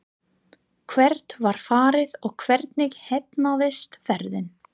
Hvert var farið og hvernig heppnaðist ferðin?